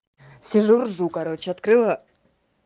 сижу ржу короче открыла